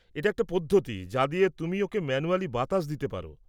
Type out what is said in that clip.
এটা একটা পদ্ধতি যা দিয়ে তুমি ওঁকে ম্যানুয়ালি বাতাস দিয়ে পার।